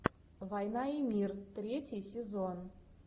война и мир третий сезон